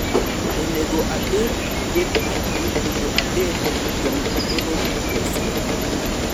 onego abed gi gwen adi mondo abed gi tong moromo uso?